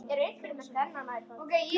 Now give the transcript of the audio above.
Elsku Gunnar, takk fyrir allt.